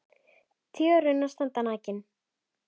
Tré og runnar standa nakin.